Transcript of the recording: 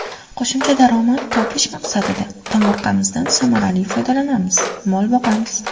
Qo‘shimcha daromad topish maqsadida tomorqamizdan samarali foydalanamiz, mol boqamiz.